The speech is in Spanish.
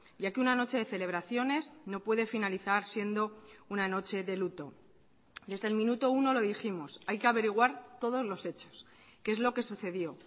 ya que una noche de celebraciones no puede finalizar siendo una noche de luto desde el minuto uno lo dijimos hay que averiguar todos los hechos qué es lo que sucedió